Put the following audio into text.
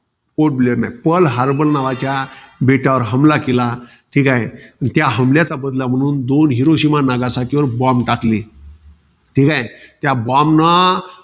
पोर्टब्लेअर नाही. Pearl Harbor नावाच्याच्या बेटावर हमला केला. ठीकाय. त्या हमल्याचा बदला म्हणून दोन हिरोशिमा, नागासाकीवर bomb टाकले. ठीकाय. त्या bomb नं